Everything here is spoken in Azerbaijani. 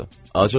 Acıqlanırlar.